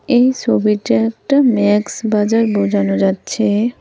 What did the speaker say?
এই ছবিটা একটা ম্যাক্স বাজার বোঝানো যাচ্ছে।